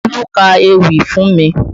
Olú ka ewì fún mi